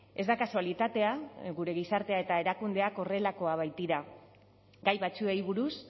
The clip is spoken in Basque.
ez da kasualitatea gure gizartea eta erakundeak horrelakoak baitira gai batzuei buruz